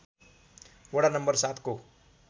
वडा नम्बर ७ को